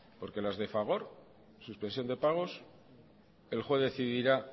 porque las de fagor suspensión de pagos el juez decidirá